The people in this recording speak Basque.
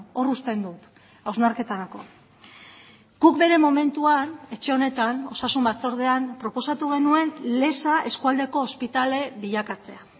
hor uzten dut hausnarketarako guk bere momentuan etxe honetan osasun batzordean proposatu genuen leza eskualdeko ospitale bilakatzea